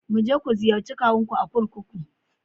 Mu je ku ziyarci kawunku a kurkuku.